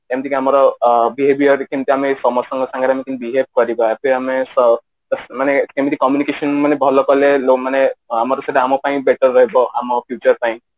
ଯେମିତି କି ଆମର behaviour ରେ କେମିତି ଆମେ ସମସ୍ତଙ୍କ ସାଙ୍ଗରେ ଆମେ କେମିତେ behave କରିବା କି ଆମେ ମାନେ କେମିତି communication ମାନେ ଭଲ କଲେ ଲୋ ମାନେ ଆମର ସେଇଟା ଆମ ପାଇଁ better ରହିବ ଆମ future ପାଇଁ